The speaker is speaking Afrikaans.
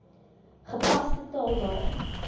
gepaste taal daarin